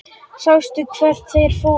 Sástu hvert þeir fóru?